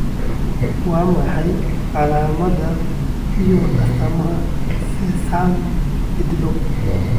Waa maxay calaamadaha iyo astaamaha SeSAME cidlo?